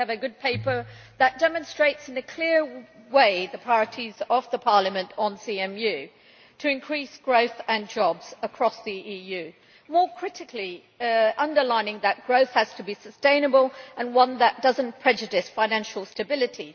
We have a good paper that demonstrates, in a clear way, the priorities of Parliament on CMU to increase growth and jobs across the EU and, more critically, that underlines that growth has to be sustainable and should not prejudice financial stability.